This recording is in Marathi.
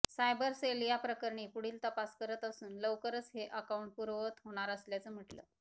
सायबर सेल याप्रकरणी पुढील तपास करत असून लवकरच हे अकाउंट पूर्ववत होणार असल्याचं म्हटलं